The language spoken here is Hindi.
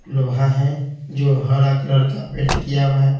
लोहा है जो हरा कलर का पेंट किया हुआ है।